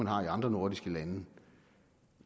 har i andre nordiske lande